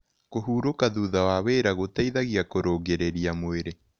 Kũhũrũka thũtha wa wĩra gũteĩthagĩa kũrũngĩrĩrĩa mwĩrĩ